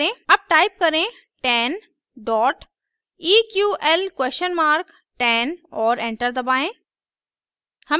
अब टाइप करें 10 eql10 और एंटर दबाएं